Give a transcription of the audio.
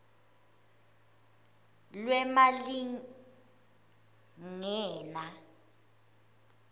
lwemalingena